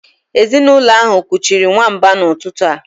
Ezinụlọ ahụ kuchiri nwamba n'ụtụtụ a